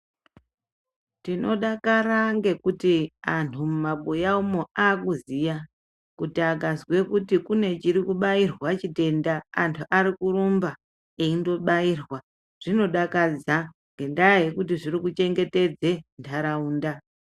Tinodakara ngekuti anhu mumabuya umo akuziya kuti akazwe kuti kune chirikubairwa chitenda antu arikurumba eindobairwa zvinodakadza ngendaa yekuti zvirikuchengetedze nharaunda.